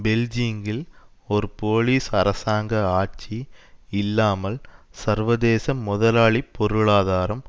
பெல்ஜீங்கில் ஒரு போலீஸ் அரசாங்க ஆட்சி இல்லாமல் சர்வதேச முதலாளித்துவ பொருளாதாரம்